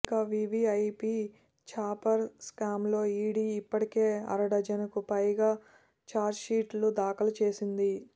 ఇక VVIP chopper స్కామ్లో ED ఇప్పటికే అరడజనుకు పైగా చార్జ్షీట్లు దాఖలు చేసింది